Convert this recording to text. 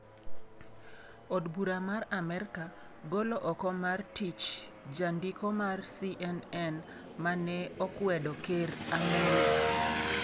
Od Bura mar Amerka golo oko mar tich jandiko mar CNN ma ne okwedo ker Amollo .